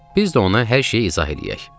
Biz də ona hər şeyi izah eləyək.